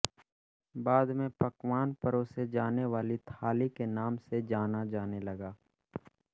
बाद में पकवान परोसे जाने वाली थाली के नाम से जाना जाने लगा